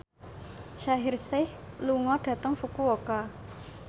Shaheer Sheikh lunga dhateng Fukuoka